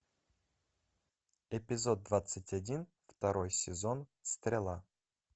эпизод двадцать один второй сезон стрела